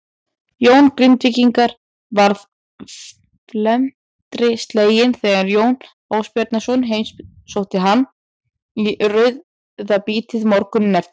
Jón Grindvíkingur varð felmtri sleginn þegar Jón Ásbjarnarson heimsótti hann í rauðabítið morguninn eftir.